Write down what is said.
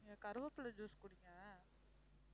நீங்க கறிவேப்பிலை juice குடிங்க